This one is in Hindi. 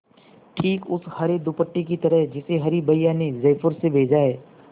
ठीक उस हरे दुपट्टे की तरह जिसे हरी भैया ने जयपुर से भेजा है